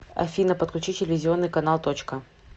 афина подключи телевизионный канал точка